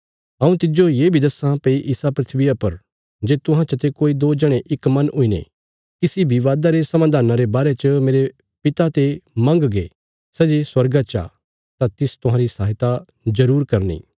हऊँ तिज्जो ये बी दस्सां भई इसा धरतिया पर जे तुहां चते कोई दो जणे इक मन हुईने किसी विवादा रे समाधाना रे बारे च मेरे पिता ते मंगगे सै जे स्वर्गा चा तां तिस तुहांरी सहायता जरूर करनी